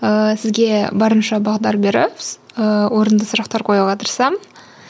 ыыы сізге барынша бағдар беріп орынды сұрақтар қоюға тырысамын